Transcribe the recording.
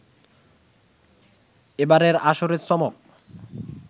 এবারের আসরের চমক